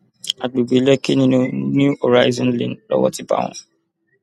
àgbègbè lèkì nínú new horizon lane lowó ti bá wọn